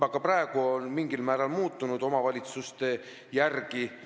Juba praegu on need mingil määral omavalitsuste järgi muutunud.